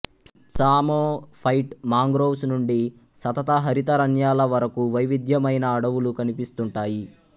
psammophyte mangroves నుండి సతతహరితారణ్యాల వరకు వైవిధ్యమైన అడవులు కనిపిస్తుంటాయి